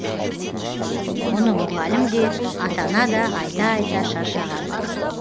оны мұғалім де ата ана да айта айта шаршаған